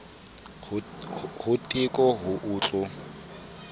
ho teko ho o tl